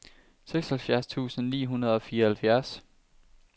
seksoghalvfjerds tusind ni hundrede og fireoghalvfjerds